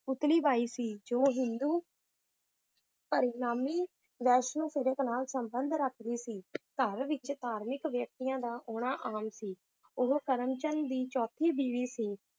ਪੁਤਲੀ ਬਾਈ ਸੀ ਜੋ ਹਿੰਦੂ ਪਰਿਨਾਮੀ ਵੈਸ਼ਨੋ ਫ਼ਿਰਕੇ ਨਾਲ ਸੰਬੰਧ ਰੱਖਦੀ ਸੀ ਘਰ ਵਿਚ ਧਾਰਮਿਕ ਵਿਅਕਤੀਆਂ ਦਾ ਆਉਣਾ ਆਮ ਸੀ l ਉਹ ਕਰਮਚੰਦ ਦੀ ਚੌਥੀ ਬੀਵੀ ਸੀ l